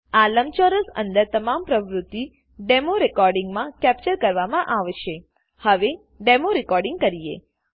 આ લંબચોરસ અંદર તમામ પ્રવૃત્તિઓ ડેમો રેકોર્ડિંગમા કેપ્ચર કરવામાં આવશેહવે ડેમો રેકોર્ડિંગ કરીએ